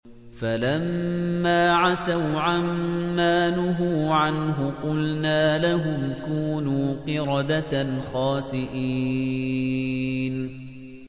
فَلَمَّا عَتَوْا عَن مَّا نُهُوا عَنْهُ قُلْنَا لَهُمْ كُونُوا قِرَدَةً خَاسِئِينَ